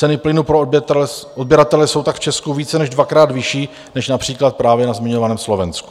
Ceny plynu pro odběratele jsou tak v Česku více než dvakrát vyšší než například na právě zmiňovaném Slovensku.